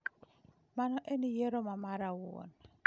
Mano en yiero ma mara awuon.